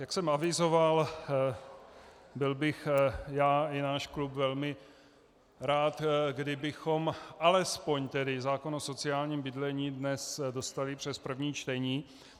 Jak jsem avizoval, byl bych já i náš klub velmi rád, kdybychom alespoň tedy zákon o sociálním bydlení dnes dostali přes první čtení.